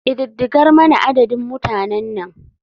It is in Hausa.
Ƙididdigar mana adadin mutanan nan.